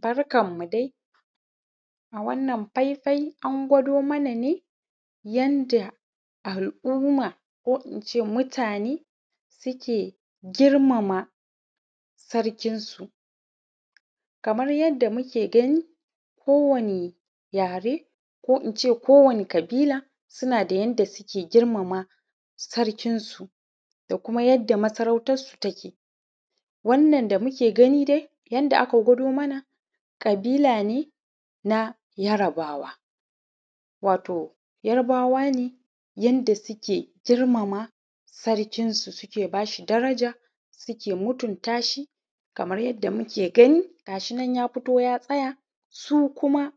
Barkamu dai a wannan faifai an gwado manane yanda al’umma ko ince mutane suke girmama sarkin su. Kamar yadda kuke gani ko wani yare ko ince ko wani ƙabila sunada yadda suke girmama sarkin su da kuma yanda masarautansu take. Wannan da muke gani dai yanda aka gwado mana ƙabila ne yarbawa, wato yarbawa ne yanda suke girmama sarkin su, suke bashi daraja suke mutuntashi kamar yadda muke gani gashinan ya fito ya tsaya su kuma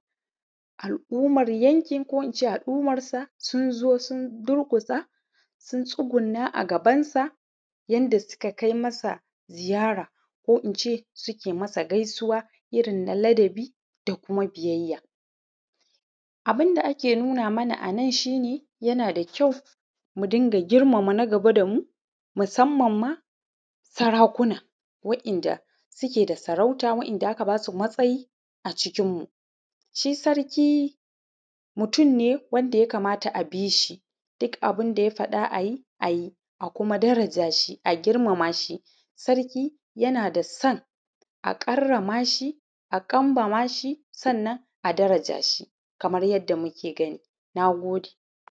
al’ummar yankin ko ince al’ummarsa sunzo sun durƙusa sun tsugunna a gaban sa, yanda suka kai masa ziyara ko ince suke masa gaisuwa irrin na labadi da biyayya. Abunda ake nuna mana anan shine yanada kyau mudinga girmama na gaba damu mu sammanma sarakuna wa‘yan’da suke da sarauta wa’yan’da aka basu matsayi acikin mu. Shi sarki mutun ne wanda yakamata a bishi duk abunda ya faɗa ayi ayi a kuma darajashi a girmamashi sarki yanadasan a karramashi a kambamashi sannan a darajashi kamar yadda muke gani. Nagode